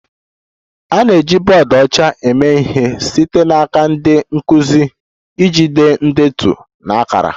A na-eji bọọdụ ọcha eme ihe site n'aka ndị nkụzi iji dee ndetu na akara